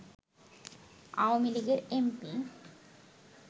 আওয়ামী লীগের এমপি